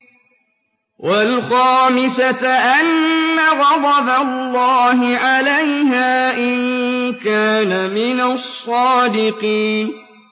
وَالْخَامِسَةَ أَنَّ غَضَبَ اللَّهِ عَلَيْهَا إِن كَانَ مِنَ الصَّادِقِينَ